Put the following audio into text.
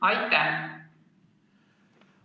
Aitäh!